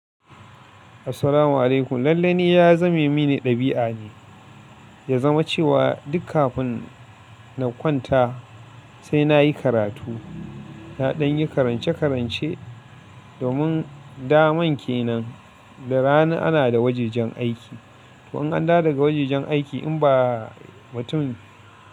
Assalamu alaikum. Lallai ni ya zame mini ɗabi'a ne, ya zama cewa duk kafin na kwanta sai na yi karatu. Na danyi karance-karance domin da man ke nan, da rana ana da wajajen aiki. To an dawo daga wajajen aiki in ba mutum.